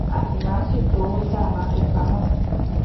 a sì máa ń ṣètò owó tá a máa fi pa mó